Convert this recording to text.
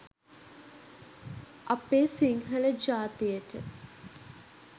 අපේ සිංහල ජාතියට